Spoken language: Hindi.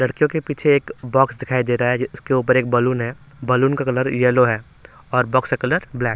लड़कियों के पीछे एक बॉक्स दिखाई दे रहा है जिसके ऊपर एक बलून है बलून का कलर यल्लो है और बॉक्स का कलर ब्लैक।